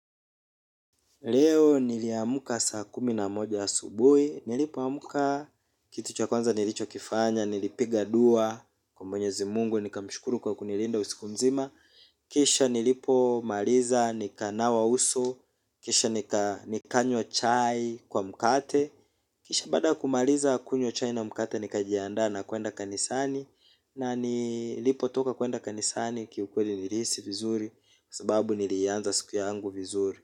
Leo niliamka saa kumi na moja asubuhi, nilipo amka kitu chwa kwanza nilicho kifanya, nilipiga dua kwa mwenyezi Mungu, nika mshukuru kwa kunilinda usiku mzima. Kisha nilipo maliza nikanawa uso, kisha nikanywa chai kwa mkate, kisha baada kumaliza kunywa chai na mkate nika jiaandaa na kuenda kanisani. Na nilipo toka kuenda kanisani kiukweli nilihisi vizuri, sababu nilianza siku yangu vizuri.